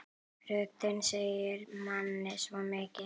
Röddin segir manni svo mikið.